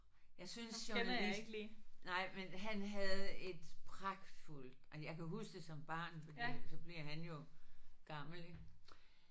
Jeg synes journalist nej men han havde et pragtfuldt jeg kan huske det som barn fordi så bliver han jo gammel ik